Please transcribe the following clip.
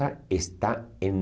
está em